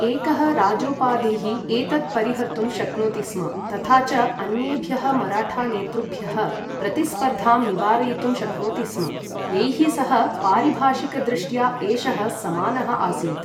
एकः राजोपाधिः एतत् परिहर्तुं शक्नोति स्म, तथा च अन्येभ्यः मराठा नेतृभ्यः प्रतिस्पर्धां निवारयितुं शक्नोति स्म, यैः सह पारिभाषिकदृष्ट्या एषः समानः आसीत्।